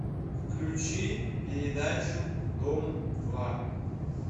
включи передачу дом два